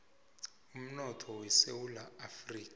umnotho wesewula afrika